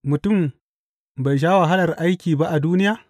Mutum bai sha wahalar aiki ba a duniya?